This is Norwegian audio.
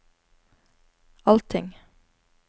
allting